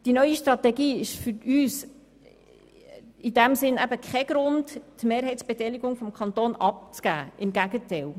Daher ist die neue Strategie für uns kein Grund, die Mehrheitsbeteiligung des Kantons abzugeben, im Gegenteil.